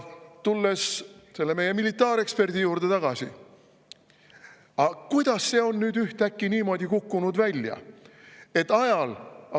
Tulles meie militaareksperdi juurde tagasi, aga kuidas see on nüüd ühtäkki välja kukkunud niimoodi, et ajal …